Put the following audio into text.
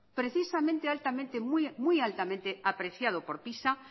precisamente muy altamente apreciado por pisa